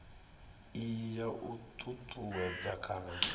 iyi ya u ṱuṱuwedza kana